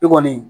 I kɔni